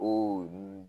O